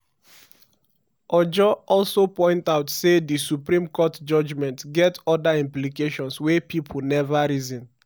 ojo also point out say di supreme court judgement get oda implications wey pipo neva reason.